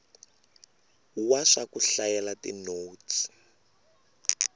wa swa ku hlayela tinotsi